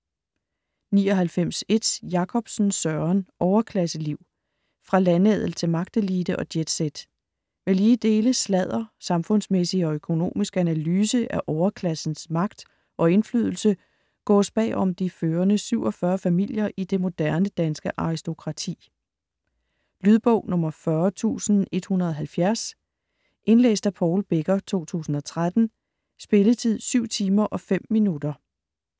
99.1 Jakobsen, Søren: Overklasseliv: fra landadel til magtelite og jetset Med lige dele sladder, samfundsmæssig og økonomisk analyse af overklassens magt og indflydelse gåes bagom de førende 47 familier i det moderne danske aristokrati. Lydbog 40170 Indlæst af Paul Becker, 2013. Spilletid: 7 timer, 5 minutter.